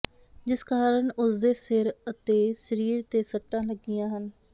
ਜਿਸ ਕਾਰਨ ਉਸਦੇ ਸਿਰ ਅਤੇ ਸਰੀਰ ਤੇ ਸੱਟਾਂ ਲੱਗੀਆਂ ਹਨ